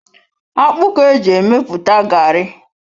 Akpụ ka eji emepụta garri.